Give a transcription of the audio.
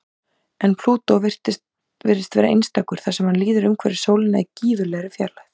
En Plútó virðist vera einstakur þar sem hann líður umhverfis sólina í gífurlegri fjarlægð.